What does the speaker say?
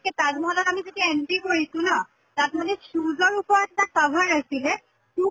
কে তাজ মহলত আমি যেতিয়া entry কৰিছো ন, তাত মানে shoes ৰ উপৰত এটা cover আছিলে, shoe